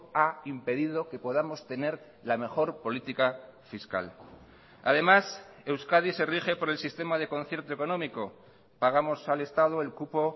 ha impedido que podamos tener la mejor política fiscal además euskadi se rige por el sistema de concierto económico pagamos al estado el cupo